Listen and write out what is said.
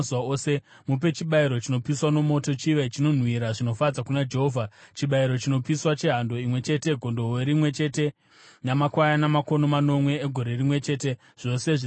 Mupe chibayiro chinopiswa nomoto chive chinonhuhwira zvinofadza kuna Jehovha, chibayiro chinopiswa chehando imwe chete, gondobwe rimwe chete namakwayana makono manomwe egore rimwe chete, zvose zvisina kuremara.